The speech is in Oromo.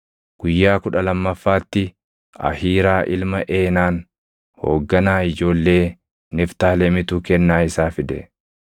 Guyyaa kudha lammaffaatti Ahiiraa ilma Eenaan hoogganaa ijoollee Niftaalemitu kennaa isaa fide.